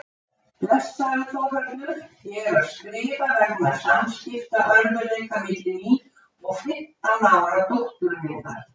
Blessaður Þórhallur, ég er að skrifa vegna samskiptaörðugleika milli mín og fimmtán ára dóttur minnar.